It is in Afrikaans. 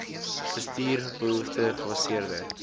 bestuur behoefte gebaseerde